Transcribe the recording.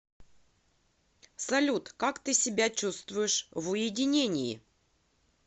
салют как ты себя чувствуешь в уединении